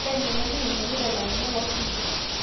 ore enyamali naingialita ilairemok loo sinkir